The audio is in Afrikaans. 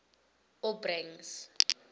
opbrengs